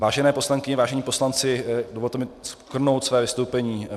Vážené poslankyně, vážení poslanci, dovolte mi shrnout své vystoupení.